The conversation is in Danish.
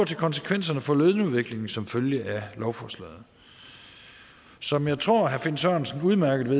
til konsekvenserne for lønudviklingen som følge af lovforslaget som jeg tror at herre finn sørensen udmærket